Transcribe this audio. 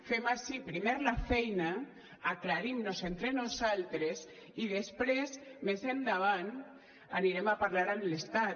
fem ací primer la feina aclarim nos entre nosaltres i després més endavant anirem a parlar amb l’estat